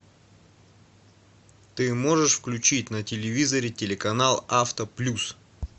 ты можешь включить на телевизоре телеканал авто плюс